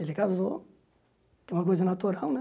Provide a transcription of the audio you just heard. Ele casou, que é uma coisa natural, né?